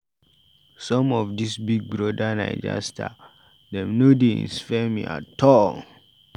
Some of dis Big Brother Naija star dem no dey inspire me at all.